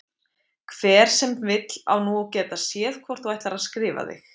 Hver sem vill á nú að geta séð hvort þú ætlar að skrifa þig